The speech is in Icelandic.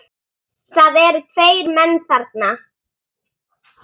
Það eru tveir menn þarna